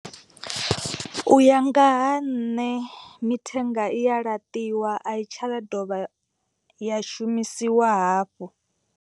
U ya nga ha nṋe mithenga i ya laṱiwa a i tsha dovha ya shumisiwa hafhu.